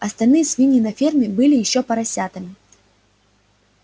остальные свиньи на ферме были ещё поросятами